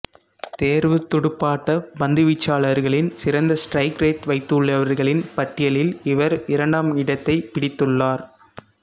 தேர்வுத் துடுப்பாட்டப் பந்துவீச்சாளர்களின் சிறந்த ஸ்டிரைக் ரேட் வைத்துள்ளவர்களின் பட்டியலில் இவர் இரண்டாம் இடத்தைப் பிடித்துள்ளார்